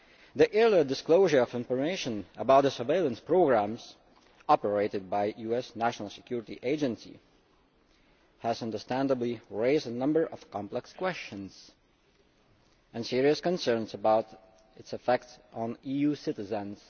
The earlier disclosure of information about the surveillance programmes operated by the US National Security Agency has understandably raised a number of complex questions and serious concerns about the effects on EU citizens.